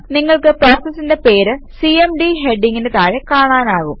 നിങ്ങൾക്ക് പ്രോസസിന്റെ പേര് സിഎംഡി ഹെഡിംഗിന് താഴെ കാണാനാകും